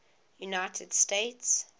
united states